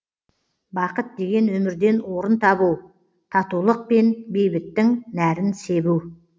бақыт деген өмірден орын тебу татулық пен бейбіттің нәрін себу